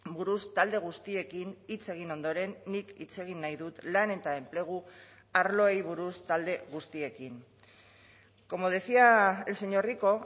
buruz talde guztiekin hitz egin ondoren nik hitz egin nahi dut lan eta enplegu arloei buruz talde guztiekin como decía el señor rico